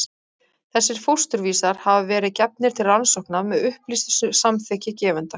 Þessir fósturvísar hafa verið gefnir til rannsókna með upplýstu samþykki gefenda.